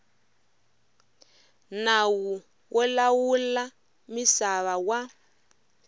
nawu wo lawula misava wa